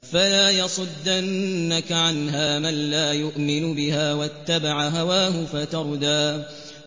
فَلَا يَصُدَّنَّكَ عَنْهَا مَن لَّا يُؤْمِنُ بِهَا وَاتَّبَعَ هَوَاهُ فَتَرْدَىٰ